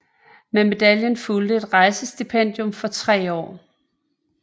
Med medaljen fulgte et rejsestipendium for 3 år